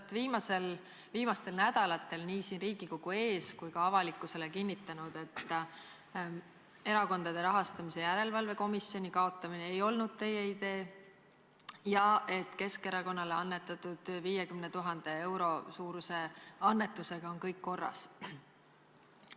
Te olete viimastel nädalatel nii siin Riigikogu ees kui ka avalikkusele kinnitanud, et Erakondade Rahastamise Järelevalve Komisjoni kaotamine ei olnud teie idee ja et Keskerakonnale annetatud 50 000 euro suuruse annetusega on kõik korras.